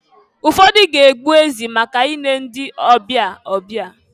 Ụfọdụ ga-egbu ezi maka ile ndị ọbịa ọbịa.